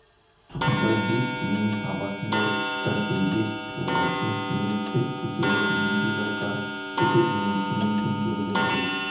тұқымбай бес биенің сабасындай іркілдек тұлғасын кенет тік көтеріп есік жаққа бүкіл денесімен төңкеріле бұрылып